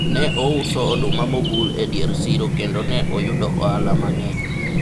ne ouso oduma mobul e dier siro kendo ne oyudo ohala mang'eny